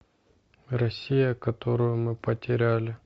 россия которую мы потеряли